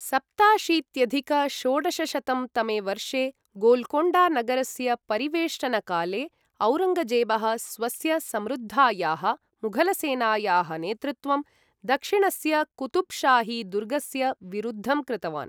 सप्ताशीत्यधिक षोडशशतं तमे वर्षे, गोल्कोण्डा नगरस्य परिवेष्टनकाले, औरङ्गजेबः स्वस्य समृद्धायाः मुघलसेनायाः नेतृत्वं दक्षिणस्य कुतुब्शाही दुर्गस्य विरुद्धं कृतवान्।